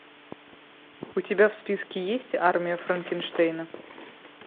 у тебя в списке есть армия франкенштейна